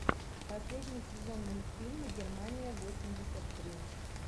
последний сезон мультфильма германия восемьдесят три